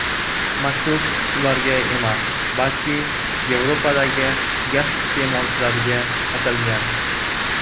Maktub ularga emas, balki Yevropadagi gaz iste’molchilariga atalgan.